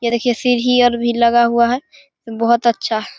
यह देखिये सीढ़ी आर भी लगा हुआ है बहुत अच्छा है।